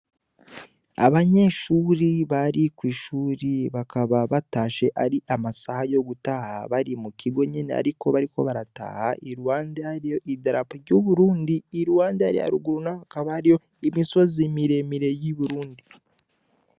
Abanyeshuri bari kw'ishuri bakaba batashe ari amasaha yo gutaha bari mukigo nyene, ariko bariko barataha i ruhande ariyo idarapo ry'uburundi iruhande ariaruguruna bakaba ari yo imisozi miremire y'i burundi.